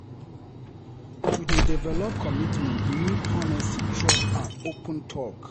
To dey develop commitment need honesty, trust, and open talk.